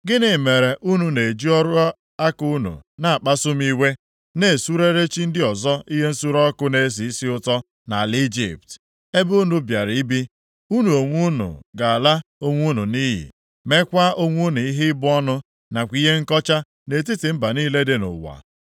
Gịnị mere unu na-eji ọrụ aka unu na-akpasu m iwe, na-esurere chi ndị ọzọ ihe nsure ọkụ na-esi isi ụtọ nʼala Ijipt, ebe unu bịara ibi? Unu onwe unu ga-ala onwe unu nʼiyi, mekwaa onwe unu ihe ịbụ ọnụ nakwa ihe nkọcha nʼetiti mba niile dị nʼụwa.